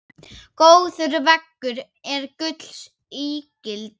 Góður vegur er gulls ígildi.